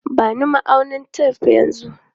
Ba ni ma'aunin tef yanzu!